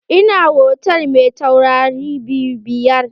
Ina hotal mai taurari biyar.